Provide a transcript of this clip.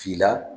F'i la